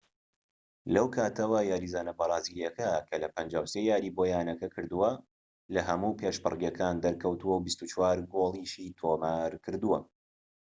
لەو کاتەوە یاریزانە بەرازیلیەکە لە 53 یاریی بۆ یانەکە کردووە لەهەموو پێشبڕکێکان دەرکەوتووە و 24 گۆڵیشی تۆمارکردووە